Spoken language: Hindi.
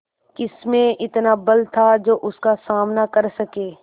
किसमें इतना बल था जो उसका सामना कर सके